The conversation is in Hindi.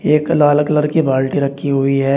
एक लाल कलर की बाल्टी रखी हुई है।